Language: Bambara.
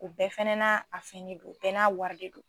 U bɛɛ fana, a fini bɛɛ n'a wari de don.